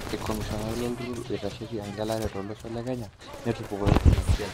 Ikomishonani lolturur oitasheki engelare tolosho lekenya netupukutuo tina siai.